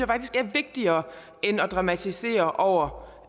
faktisk er vigtigere end at dramatisere over